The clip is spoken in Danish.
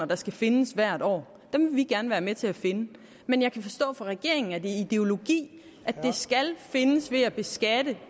der skal findes hvert år vil vi gerne være med til at finde men jeg kan forstå på regeringen at det er ideologi at de skal findes ved at beskatte